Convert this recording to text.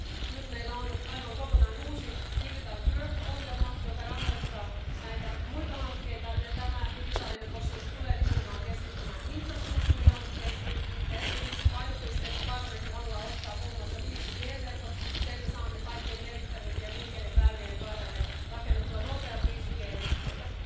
että nyt meillä on aivan kokonaan uusi Digitaalinen Eurooppa ohjelma, josta rahoitetaan näitä muita hankkeita, ja tämä digitaalinen osuus tulee nimenomaan keskittymään infrastruktuurihankkeisiin. Erityiseksi painopisteeksi parlamentti haluaa ottaa muun muassa 5G verkot eli sen, että saamme kaikkein merkittävimpien liikenneväylien varrelle rakennettua nopeat 5G yhteydet.